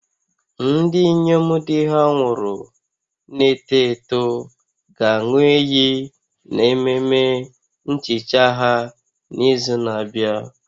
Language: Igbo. Ndị inyom di ha nwụrụ na-eto eto ga-aṅụ iyi n'ememe nhicha ha n'izu na-abịa